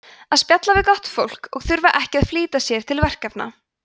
að spjalla við gott fólk og þurfa ekki að flýta sér til verkefna